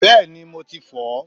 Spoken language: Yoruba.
Bẹ́ẹ̀ni, mo ti fọ̀ọ́.